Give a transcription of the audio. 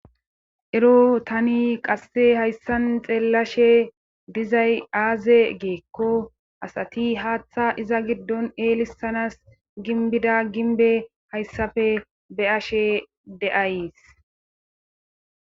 ero tani qasse hayssan xeellashe dizay aaze giikko asati haaththa iza giddon eelissanas ginbida ginbe hayssafe be ashe de7ays